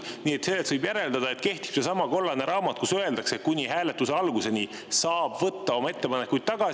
Nii et võib järeldada, et kehtib seesama kollane raamat, kus öeldakse, et kuni hääletuse alguseni saab võtta oma ettepanekuid tagasi.